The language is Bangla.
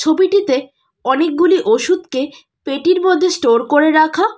ছবিটিতে অনেকগুলি ওষুধকে পেটির মধ্যে স্টোর করে রাখা।